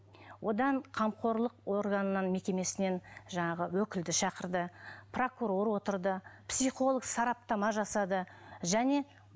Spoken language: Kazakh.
одан қамқорлық органынан мекемесінен жаңағы өкілді шақырды прокурор отырды психолог сараптама жасады және